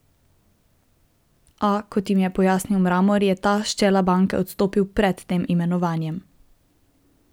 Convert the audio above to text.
A, kot jim je pojasnil Mramor, je ta s čela banke odstopil pred tem imenovanjem.